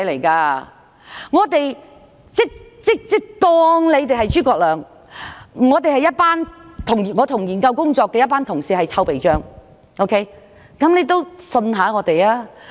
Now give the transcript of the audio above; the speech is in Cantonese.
假如你是諸葛亮，我們這些參與研究工作的人便是臭皮匠，所以請你相信我們。